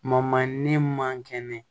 ne man kɛnɛ